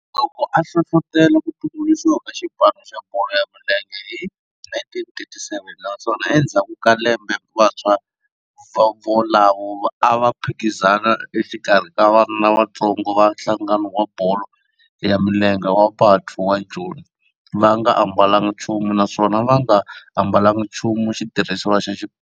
Loko a hlohlotela ku tumbuluxiwa ka xipano xa bolo ya milenge hi 1937 naswona endzhaku ka lembe vantshwa volavo a va phikizana exikarhi ka vana lavatsongo va nhlangano wa bolo ya milenge wa Bantu wa Joni va nga ambalanga nchumu naswona va nga ambalanga nchumu xitirhisiwa xa xipano.